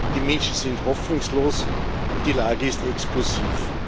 Die Menschen sind hoffnungslos, und die Lage ist explosiv.